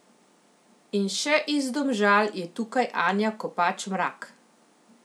In še iz Domžal je tukaj Anja Kopač Mrak.